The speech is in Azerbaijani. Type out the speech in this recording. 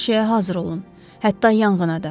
Hər şeyə hazır olun, hətta yanğına da.